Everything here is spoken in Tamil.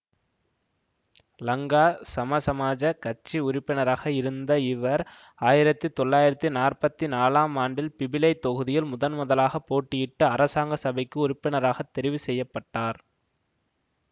லங்கா சமசமாஜக் கட்சி உறுப்பினராக இருந்த இவர் ஆயிரத்தி தொளாயிரத்தி நாற்பத்தி நாலாம் ஆண்டில் பிபிலை தொகுதியில் முதன் முதலாகப் போட்டியிட்டு அரசாங்க சபைக்கு உறுப்பினராகத் தெரிவு செய்ய பட்டார்